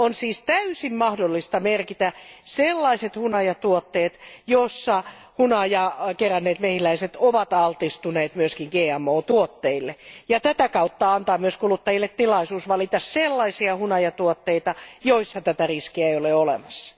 On siis täysin mahdollista merkitä sellaiset hunajatuotteet, joissa hunajaa keränneet mehiläiset ovat altistuneet myös GMO tuotteille, ja tätä kautta antaa myös kuluttajille tilaisuus valita sellaisia hunajatuotteita, joissa tätä riskiä ei ole olemassa.